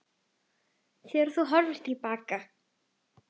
Þegar þú horfir til baka.